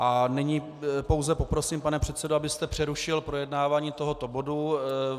A nyní pouze poprosím, pane předsedo, abyste přerušil projednávání tohoto bodu.